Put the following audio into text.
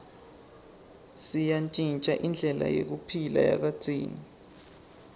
seyantjintja indlela yekuphila yakadzeni